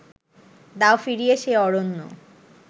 দাও ফিরিয়ে সে অরণ্য